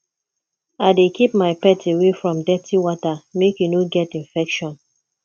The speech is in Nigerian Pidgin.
i dey keep my pet away from dirty water make e no get infection